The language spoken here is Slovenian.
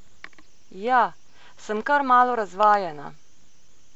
Ja, sem kar malo razvajena ...